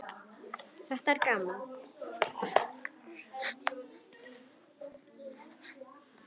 Þetta er gaman.